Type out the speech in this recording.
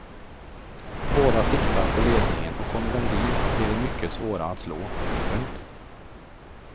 Båda siktar på ledningen och kommer de dit blir de mycket svåra att slå. punkt